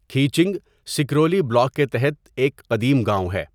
Khiching, Sukruli block کے تحت ایک قدیم گاؤں ہے۔